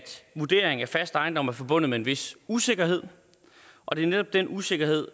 vurdering af fast ejendom er forbundet med en vis usikkerhed og det er netop den usikkerhed